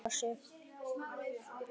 Þarf alltaf að toppa sig?